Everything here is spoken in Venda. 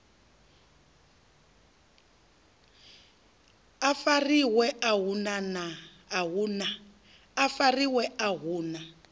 a fariwe a hu na